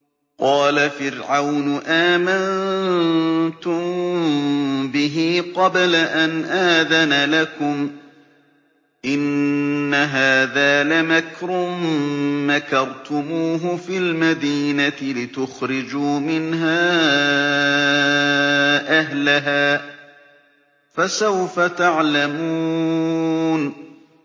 قَالَ فِرْعَوْنُ آمَنتُم بِهِ قَبْلَ أَنْ آذَنَ لَكُمْ ۖ إِنَّ هَٰذَا لَمَكْرٌ مَّكَرْتُمُوهُ فِي الْمَدِينَةِ لِتُخْرِجُوا مِنْهَا أَهْلَهَا ۖ فَسَوْفَ تَعْلَمُونَ